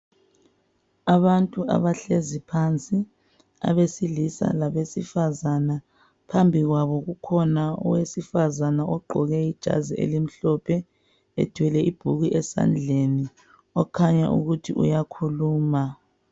Abantu abahlezi phansi abesilisa labesifazana, phambi kwabo kukhona owesifazana ogqoke ijazi elimhlophe ethwele ibhuku esandleni okhanya ukuthi uyakhuluma.